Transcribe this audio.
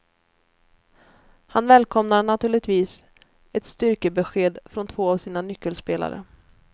Han välkomnar naturligtvis ett styrkebesked från två av sina nyckelspelare.